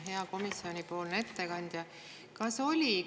Hea komisjoni ettekandja!